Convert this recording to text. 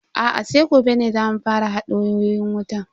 Aa sai gobe ne zamu fara hada wayoyin wutan.